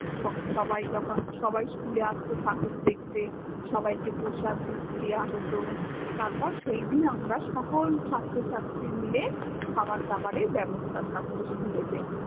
সব সবাই যখন সবাই school এ আসত ঠাকুর দেখ্তে, সবাইকে প্রসাদ দেয়া হত, তারপর সেইদিন আমরা সকল ছাত্র ছাত্রি মিলে খাবার দাবারের ব্য়ব্স্থা থাকাত school এ তে